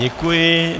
Děkuji.